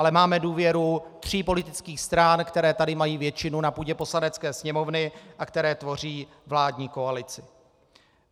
Ale máme důvěru tří politických stran, které tady mají většinu na půdě Poslanecké sněmovny a které tvoří vládní koalici.